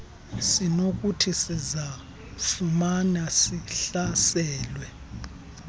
sinokuthi sizifumane sihlaselwe